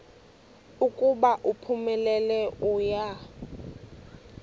ukuba uphumelele uya